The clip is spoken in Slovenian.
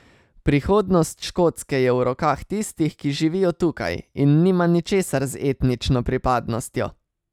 Prihodnost Škotske je v rokah tistih, ki živijo tukaj, in nima ničesar z etnično pripadnostjo.